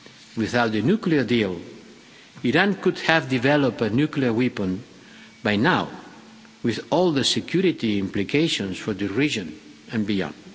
Without the nuclear deal, Iran could have developed a nuclear weapon by now, with all the security implications for the region and beyond.